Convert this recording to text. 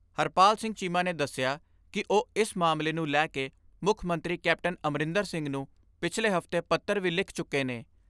ਹਰਪਾਲ ਸਿੰਘ ਚੀਮਾ ਨੇ ਦੱਸਿਆ ਕਿ ਉਹ ਇਸ ਮਸਲੇ ਨੂੰ ਲੈ ਕੇ ਮੁੱਖ ਮੰਤਰੀ ਕੈਪਟਨ ਅਮਰਿੰਦਰ ਸਿੰਘ ਨੂੰ ਪਿਛਲੇ ਹਫ਼ਤੇ ਪੱਤਰ ਵੀ ਲਿਖ ਚੁੱਕੇ ਨੇ।